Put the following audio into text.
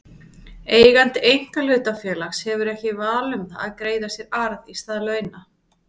Eigandi einkahlutafélags hefur ekki val um það að greiða sér arð í stað launa.